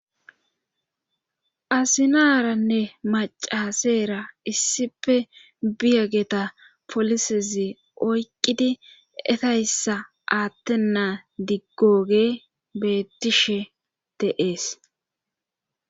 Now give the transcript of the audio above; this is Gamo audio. Azinaranne macaseera issife biyegeta polisezi oyqqidi etayssa aattennaa diggooge bettishe te'ees